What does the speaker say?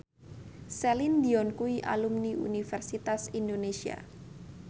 Celine Dion kuwi alumni Universitas Indonesia